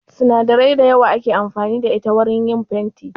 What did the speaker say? Sinadarai da yawa ake amfani da ita wajan yin fenti